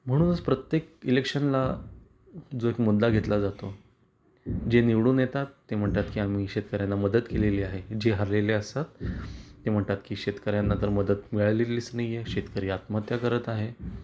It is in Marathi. म्हणूनच प्रत्येक इलेक्शन ला जो एक मुद्दा घेतला जातो जे निवडून येतात ते म्हणतात की आम्ही शेतकर्यांना मदत केलेली आहे जे हरलेले असतात ते म्हणतात की शेतकऱ्यांना तर मदत मिळालेलीच नाही आहे. शेतकरी आत्महत्या करत आहे.